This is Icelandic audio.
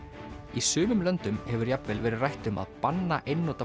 í sumum löndum hefur jafnvel verið rætt um að banna einnota